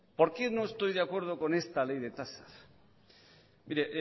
por qué no estoy de acuerdo con esta ley de tasas mire